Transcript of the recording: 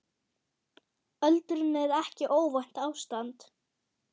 Öldrun er ekki óvænt ástand.